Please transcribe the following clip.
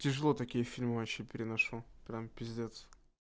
тяжело такие фильмы вообще переношу прям пиздец